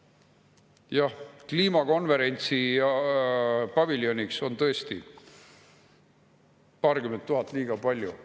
Jah, kliimakonverentsi paviljoniks on tõesti paarkümmend tuhat liiga palju.